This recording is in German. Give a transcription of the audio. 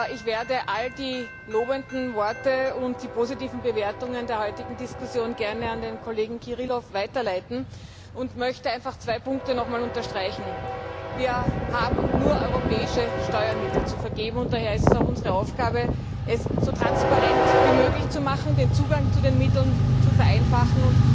Ich werde all die lobenden Worte und die positiven Bewertungen der heutigen Diskussion gerne an den Kollegen Kirilov weiterleiten und möchte zwei Punkte noch einmal unterstreichen Wir haben nur europäische Steuermittel zu vergeben, und daher ist es auch unsere Aufgabe, es so transparent wie möglich zu machen, den Zugang zu den Mitteln zu vereinfachen.